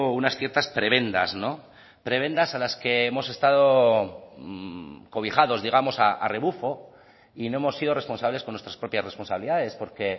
unas ciertas prebendas prebendas a las que hemos estado cobijados digamos a rebufo y no hemos sido responsables con nuestras propias responsabilidades porque